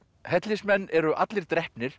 hellismenn eru allir drepnir